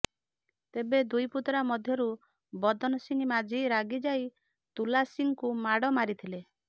ତେବେ ଦୁଇ ପୁତୁରା ମଧ୍ୟରୁ ବଦନସିଂ ମାଝି ରାଗି ଯାଇ ତୁଲାସିଂଙ୍କୁ ମାଡ଼ ମାରିଥିଲେ